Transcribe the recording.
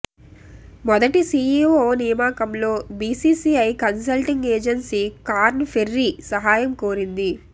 మొదటి సీఈఓ నియామకంలో BCCI consulting agency Korn Ferry సహాయం కోరింది